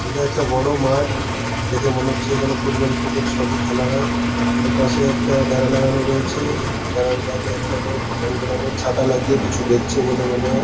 এটা একটা বড় মাঠ। দেখে মনে হচ্ছে এখানে ফুটবল ক্রিকেট সবই খেলা হয় এপাশে একটা বেড়া লাগানো রয়েছে বেড়ার বাইরে একটা লোক রং বেরং -এর ছাতা লাগিয়ে কিছু দেখছে বলে মনে হয়।